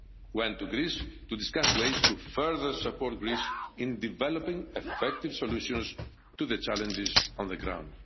went to Greece to discuss ways to further support Greece in developing effective solutions to the challenges on the ground.